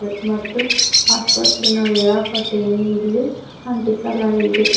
ಮತ್ತು ಆಸ್ತತ್ರೆನ ವೇಳಾಪಟ್ಟಿಯನ್ನು ಇಲ್ಲಿ ಅಂಟಿಸಲಾಗಿದೆ.